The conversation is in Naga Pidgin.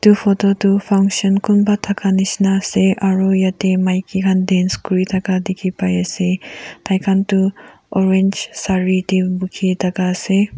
photo tu function kunba thaka nisna ase aru jatte maiki khan dance kori thaka dekhi pai ase tai khan orange sari te dekhi thaka ase.